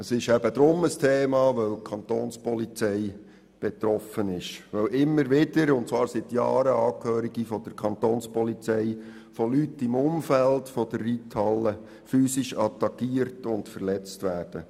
Es ist deshalb hier ein Thema, weil die Kantonspolizei betroffen ist und weil seit Jahren immer wieder Angehörige der Kantonspolizei von Leuten im Umfeld der Reithalle physisch attackiert und verletzt werden.